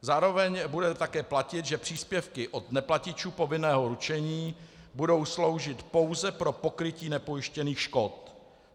Zároveň bude také platit, že příspěvky od neplatičů povinného ručení budou sloužit pouze pro pokrytí nepojištěných škod.